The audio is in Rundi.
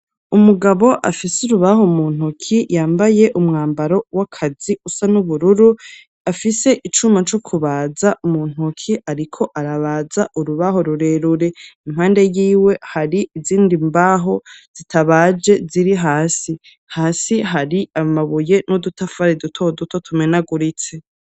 Umugabo afise urubaho mu ntoki yambaye umwambaro w'akazi usa n'ubururu, afise icuma co kubaza mu ntoki, ariko arabaza urubaho rurerure, impande y'iwe hari izindi mbaho zitabaje ziri hasi, hasi hari amabuye n'udutafari duto duto tumenaguritse.